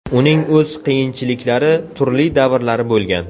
Uning o‘z qiyinchiliklari, turli davrlari bo‘lgan.